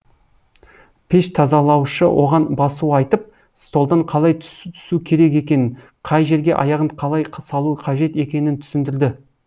пеш тазалаушы оған басу айтып столдан қалай тусу керек екенін қай жерге аяғын қалай салу қажет екенін түсіндірді